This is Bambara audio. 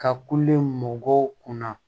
Ka kule mɔgɔw kunna